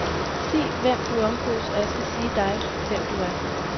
Sig hvem du omgås, og jeg skal sige dig, hvem du er.